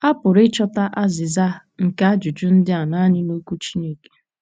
A pụrụ ịchọta azịza nke ajụjụ ndị a nanị n’okwu Chineke